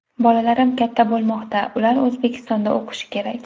Bolalarim katta bo‘lmoqda, ular O‘zbekistonda o‘qishi kerak.